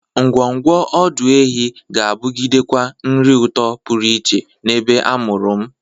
Ngwọngwọ ọdọ ehi ga-abụgidekwa nri ụtọ pụrụ iche n'ebe a mụrụ m.